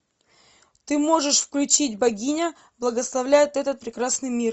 ты можешь включить богиня благословляет этот прекрасный мир